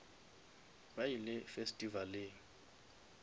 ba ile festivaleng